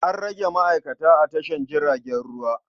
An rage ma'aikata a tashar jiragen ruwa.